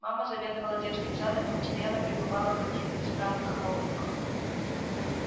мама заведовала детским садом и постоянно пребывала в каких то странных хлопотах